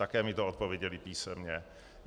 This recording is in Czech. Také mi bylo odpovězeno písemně.